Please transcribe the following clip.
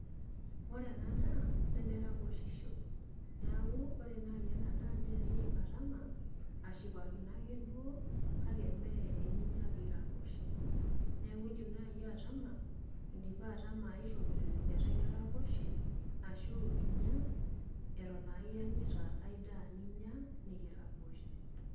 Ore ena daa, nemeraposhisho. Neeku, ore nai enadaa ne nidim atama, ashipakino ake duo, kake me eninya piraposho. Neeku idim nai atama, idipa atama aitoki, metaa itaraposhe, ashu inya eton aiyanyita ai daa ninya, nikiraposh.